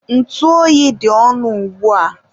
ntụ oyi dị ọnụ ugbua.